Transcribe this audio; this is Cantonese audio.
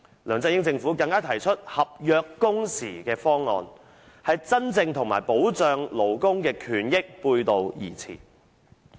梁振英政府更提出"合約工時"的方案，與真正保障勞工權益背道而馳。